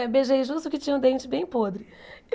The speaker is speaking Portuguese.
Eu beijei justo o que tinha o dente bem podre.